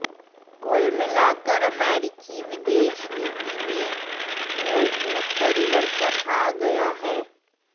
कुल मिलाकर अमेरिकी विदेश नीति में मूलभूत परिवर्तन आ गया है